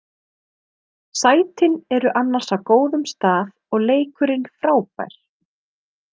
Sætin eru annars á góðum stað og leikurinn frábær.